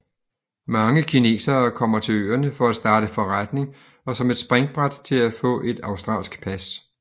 Mange kinesere kommer til øerne for at starte forretning og som et springbræt til at få et australsk pas